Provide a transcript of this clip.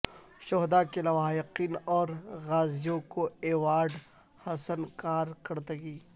شہدا کے لواحقین اور غازیوں کو ایوارڈ حسن کارکردگی